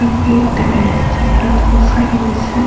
একটা প্লেট দেখা যাচ্ছে একটা ধোসা রয়েছে।